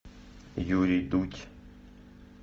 юрий дудь